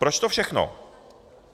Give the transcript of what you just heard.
Proč to všechno?